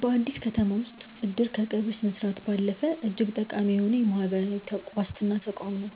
በአዲስ አበባ ከተማ ውስጥ "እድር" ከቀብር ስነስርዓት ባለፈ እጅግ ጠቃሚ የሆነ የማህበራዊ ዋስትና ተቋም ነው።